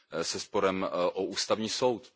se sporem o Ústavní soud.